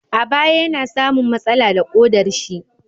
A baya yana samun matsala da ƙodar shi